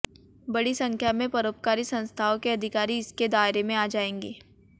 बड़ी संख्या में परोपकारी संस्थाओं के अधिकारी इसके दायरे में आ जाएंगे